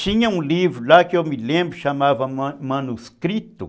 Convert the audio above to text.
Tinha um livro lá que eu me lembro que chamava ma manuscrito.